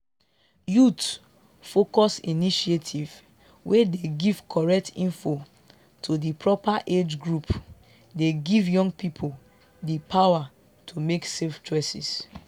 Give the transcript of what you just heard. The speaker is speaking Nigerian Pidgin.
youth-focused initiatives wey dey give correct info to di proper age group dey give young people di power to make safe choices